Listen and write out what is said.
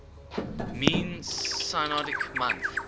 mean synodic month